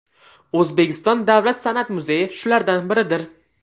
O‘zbekiston davlat san’at muzeyi shulardan biridir.